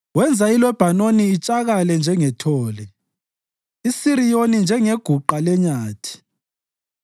Wenza iLebhanoni itshakale njengethole, iSiriyoni njengeguqa lenyathi.